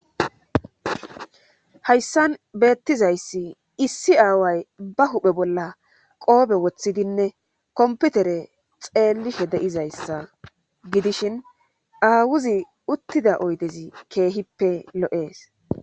hayssan beettizayssi issi aaway ba huphe bolla qoobe woththidinne komputere xeellishe de7izayssa gidishin aawuzi uttida oydezi keehippe lo7ees